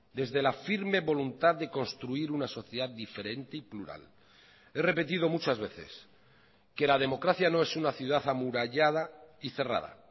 desde la firme voluntad de construir una sociedad diferente y plural he repetido muchas veces que la democracia no es una ciudad amurallada y cerrada